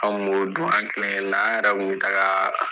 An b'o dun ,anw kelen kelen na, ani yɛrɛ kun bɛ taga